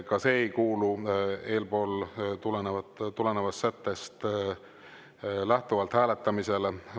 Ka see ei kuulu eelpool sättest lähtuvalt hääletamisele.